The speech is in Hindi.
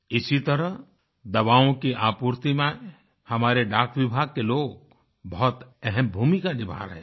इसी तरह दवाओं की आपूर्ति में हमारे डाक विभाग के लोग बहुत अहम भूमिका निभा रहें हैं